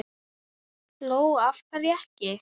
Lóa: Af hverju ekki?